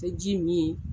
Tɛ ji min